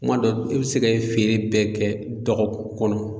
Kuma dɔ e be se ka e feere bɛɛ kɛ dɔgɔkun kɔnɔ